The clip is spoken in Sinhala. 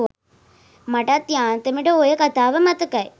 මටත් යාන්තමට ඔය කතාව මතකයි